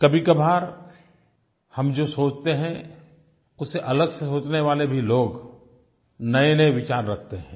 कभीकभार हम जो सोचते हैं उससे अलग सोचने वाले भी लोग नयेनये विचार रखते हैं